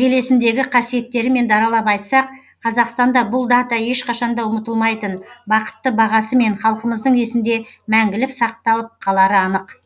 белесіндегі қасиеттерімен даралап айтсақ қазақстанда бұл дата ешқашанда ұмытылмайтын бақытты бағасымен халқымыздың есінде мәңгілік сақталып қалары анық